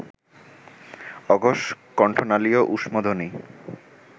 অঘোষ কণ্ঠনালীয় ঊষ্মধ্বনি